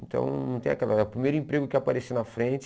Então, não tem aquela... O primeiro emprego que apareceu na frente...